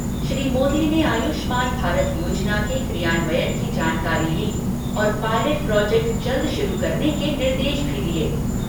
श्री मोदी ने आयुष्मान भारत योजना के क्रियान्वयन की जानकारी ली और पायलेट प्रोजेक्ट जल्द शुरू करने के निर्देश भी दिए।